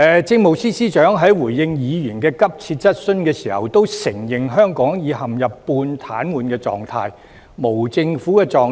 政務司司長在回應議員的急切質詢時，承認香港已陷入半癱瘓狀態、無政府狀態。